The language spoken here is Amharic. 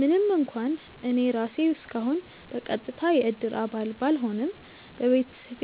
ምንም እንኳን እኔ ራሴ እስካሁን በቀጥታ የእድር አባል ባልሆንም፣ በቤተሰቤ